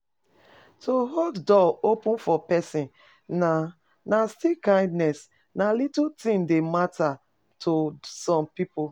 To hold door open for persin na na still kindness na little things de matter to some pipo